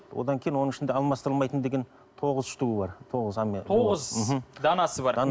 одан кейін оның ішінде алмастырылмайтын деген тоғыз штугы бар тоғыз мхм данасы бар